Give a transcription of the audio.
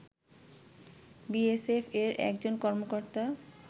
BSF এর একজন কর্মকর্তা